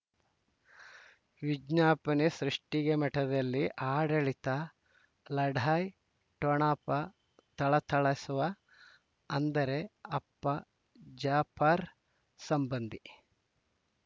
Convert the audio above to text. ವಿಜ್ಞಾಪನೆ ಸೃಷ್ಟಿಗೆ ಮಠದಲ್ಲಿ ಆಡಳಿತ ಲಢಾಯಿ ಠೊಣಪ ಥಳಥಳಿಸವ ಅಂದರೆ ಅಪ್ಪ ಜಾಪರ್ ಸಂಬಂಧಿ